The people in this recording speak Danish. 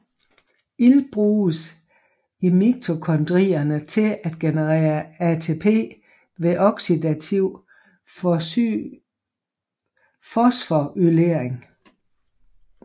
Ilt bruges i mitokondrierne til at generere ATP ved oxidativ fosforylering